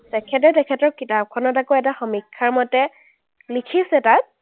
তেখেতে তেখেতৰ কিতাপখনত আকৌ এটা সমীক্ষাৰ মতে লিখিছে তাত,